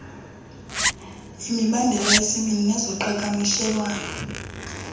imibandela yesini nezoqhakamshelwano